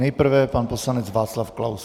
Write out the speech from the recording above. Nejprve pan poslanec Václav Klaus.